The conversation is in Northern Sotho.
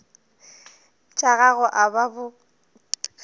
tša gago a ba bo